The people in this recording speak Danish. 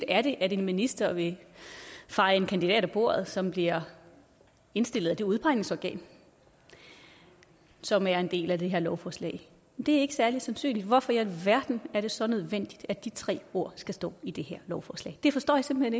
er det at en minister vil feje en kandidat af bordet som bliver indstillet af det udpegningsorgan som er en del af det her lovforslag det er ikke særlig sandsynligt hvorfor i alverden er det så nødvendigt at de tre ord skal stå i det her lovforslag det forstår jeg simpelt